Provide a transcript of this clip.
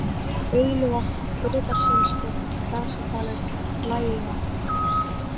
Bauluvatn, Urðarselstjörn, Grasadalur, Blæjuvatn